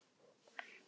Þeir eru þrír